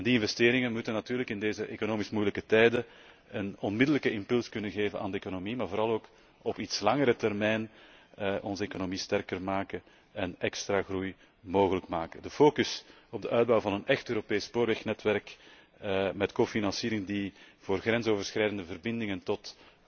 Die investeringen moeten natuurlijk in deze economisch moeilijke tijden een onmiddellijke impuls kunnen geven aan de economie, maar vooral ook op iets langere termijn onze economie sterker maken en extra groei mogelijk maken. De focus op de uitbouw van een echt Europees spoorwegnetwerk met medefinanciering die voor grensoverschrijdende verbindingen tot